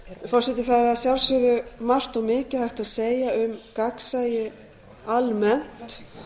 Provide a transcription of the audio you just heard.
forseti það er að sjálfsögðu margt og mikið hægt að segja um gagnsæi almennt